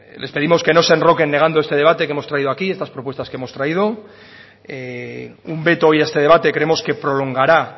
les pedimos que no se enroquen negando este debate que hemos traído aquí estas propuestas que hemos traído un veto hoy a este debate creemos que prolongará